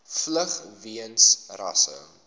vlug weens rasse